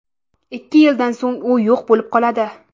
Ikki yildan so‘ng u yo‘q bo‘lib qoladi.